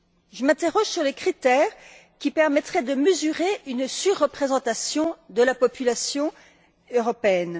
Je m'interroge sur les critères qui permettraient de mesurer une surreprésentation de la population européenne.